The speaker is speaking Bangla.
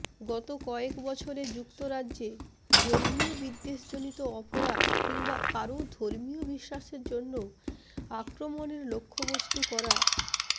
গত কয়েক বছরে যুক্তরাজ্যে ধর্মীয় বিদ্বেষজনিত অপরাধ কিংবা কারও ধর্মীয় বিশ্বাসের জন্য আক্রমণের লক্ষ্যবস্তু করার